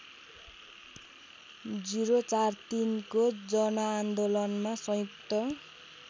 ०४६को जनआन्दोलनमा संयुक्त